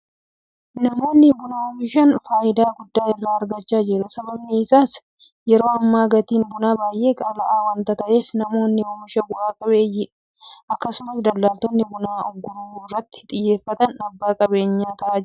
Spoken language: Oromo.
Namoonni buna oomishan faayidaa guddaa irraa argachaa jiru. Sababni isaas yeroo ammaa gatiin bunaa baay'ee qaala'aa waanta ta'eef namoonni oomishan bu'a qabeeyyiidha. Akkasumas daldaltoonni buna urguruu irratti xiyyeeffatan abbaa qabeenyaa ta'aa jiru.